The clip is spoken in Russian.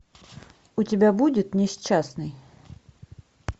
у тебя будет несчастный